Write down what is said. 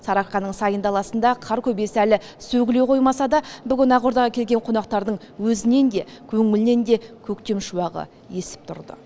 сарыарқаның сайын даласында қар көбесі әлі сөгіле қоймаса да бүгін ақордаға келген қонақтардың өзінен де көңілінен де көктем шуағы есіп тұрды